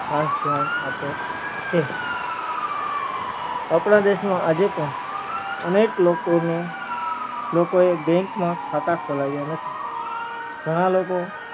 ખાસ ધ્યાન આપે છે અપડા દેશ માં આજે પણ અનેક લોકો ને લોકો એ bank માં ખાતા ખોલાવ્યા નથી ઘણા લોકો